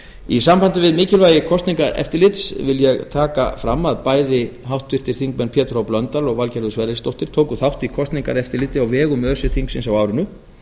í sambandi við mikilvægi kosningaeftirlits vil ég taka fram að bæði háttvirtur þingmaður pétur h blöndal og valgerður sverrisdóttir tóku þátt í kosningaeftirliti á vegum öse þingsins á árinu